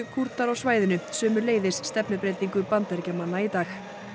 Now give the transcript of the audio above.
Kúrdar á svæðinu sömuleiðis stefnubreytingu Bandaríkjamanna í dag